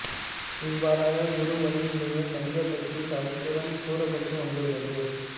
இவ்வாறாக குரு வழியிலேயே பஞ்ச பட்சி சாஸ்திரம் கூறப்பட்டு வந்துள்ளது